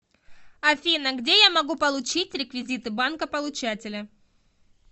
афина где я могу получить реквизиты банка получателя